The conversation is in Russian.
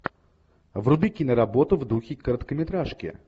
вруби киноработу в духе короткометражки